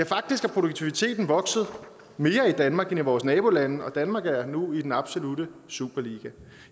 faktisk er produktiviteten vokset mere i danmark end i vores nabolande og danmark er nu i den absolutte superliga